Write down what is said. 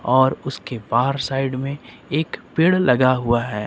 और उसके बाहर साइड में एक पेड़ लगा हुआ है।